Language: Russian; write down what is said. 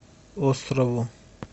острову